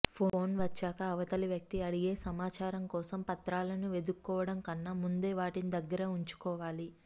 phone వచ్చాక అవతలి వ్యక్తి అడిగే సమాచారం కోసం పత్రాలను వెదుక్కోవడం కన్నా ముందే వాటిని దగ్గర ఉంచుకోవాలి